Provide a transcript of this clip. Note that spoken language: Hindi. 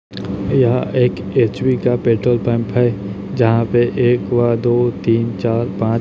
यहाँ एक एच_पी का पेट्रोल पंप है जहाँ पे एक व दो तीन चार पांच --